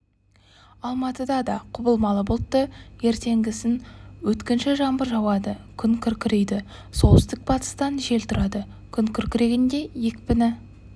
алматыда да құбылмалы бұлтты ертеңгісін өткінші жаңбыр жауады күн күркірейді солтүстік-батыстан жел тұрады күн күркірегенде екпіні